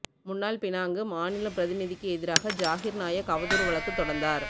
முன்னாள் பினாங்கு மாநில பிரதிநிதிக்கு எதிராக ஜாகிர் நாயக் அவதூறு வழக்கு தொடர்ந்தார்